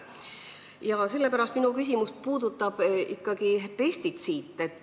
Ja sellepärast minu küsimus puudutab pestitsiide.